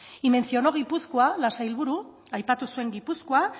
y mencionó gipuzkoa la sailburu aipatu zuen gipuzkoa